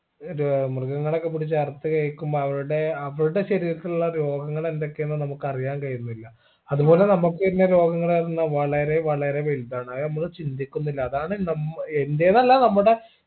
ഒരു മൃഗങ്ങളെ ഒക്കെ പിടിച്ച് അറുത്ത് കഴിക്കുമ്പൊ അവരുടെ അവരുടെ ശരീരത്തിലുള്ള രോഗങ്ങൾ എന്തൊക്കെ എന്ന് നമുക്ക് അറിയാൻ കഴിയുന്നില്ല അതുപോലെ നമുക്ക് വരുന്ന രോഗങ്ങളാവുന്ന വളരെ വളരെ വലുതാണ് അത് നമ്മൾ ചിന്തിക്കുന്നില്ല അതാണ് നമ്മ് എന്റേതല്ല നമ്മുടെ